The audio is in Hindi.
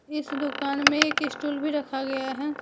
इस दुकान में एक स्टूल भी रखा गया है।